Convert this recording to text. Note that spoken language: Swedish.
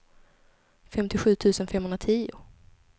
femtiosju tusen femhundratio